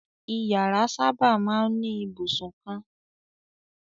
Ìyàrá sábà máa ń ní ibùsùn kan.